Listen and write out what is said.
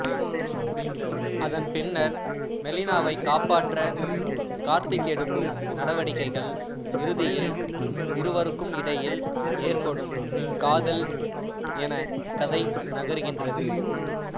அதன்பின்னர் மெலினாவைக் காப்பாற்ற கார்த்திக் எடுக்கும் நடவடிக்கைகள் இறுதியில் இருவருக்கும் இடையில் ஏற்படும் காதல் என கதை நகர்கின்றது